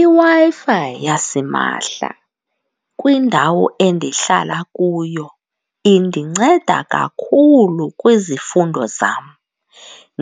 IWi-Fi yasimahla kwindawo endihlala kuyo indinceda kakhulu kwizifundo zam.